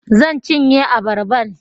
Zan cinye abarban